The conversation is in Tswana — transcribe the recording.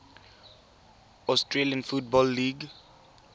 australian football league